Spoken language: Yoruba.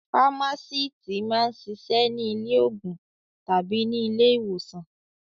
Fámásíítì máa ń ṣiṣẹ́ ní ilé-òògùn tàbí ní ilé-ìwòsàn.